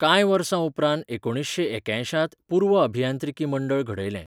कांय वर्सांउपरांत एकुणीसशें एक्यायशांत, पूर्व अभियांत्रिकी मंडळ घडयलें.